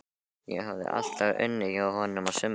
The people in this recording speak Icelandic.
Ég hafði alltaf unnið hjá honum á sumrin.